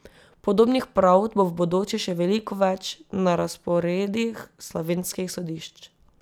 Podobnih pravd bo v bodoče še veliko več na razporedih slovenskih sodišč.